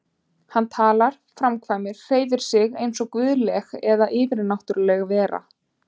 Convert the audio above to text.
Hann talar, framkvæmir, hreyfir sig einsog guðleg eða yfirnáttúrleg vera.